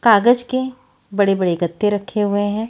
कागज़ के बड़े-बड़े गत्ते रखे हुए हैं।